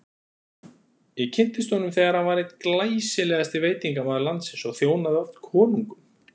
Ég kynntist honum þegar hann var einn glæsilegasti veitingamaður landsins og þjónaði oft konungum.